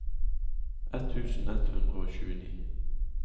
ett tusen ett hundre og tjueni